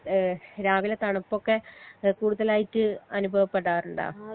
ഏഹ് രാവിലെ തണുപ്പൊക്കെ ഏഹ് കൂടുതലായിട്ട് അനുഭവപ്പെടാറുണ്ടോ